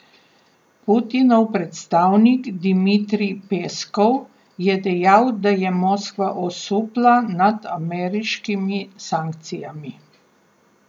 Putinov predstavnik Dimitrij Peskov je dejal, da je Moskva osupla nad ameriškimi sankcijami.